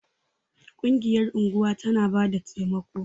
Ƙungiyar unguwa tana bada taimako.